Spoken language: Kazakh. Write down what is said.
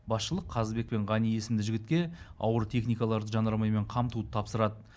басшылық қазыбек пен ғани есімді жігітке ауыр техникаларды жанармаймен қамтуды тапсырады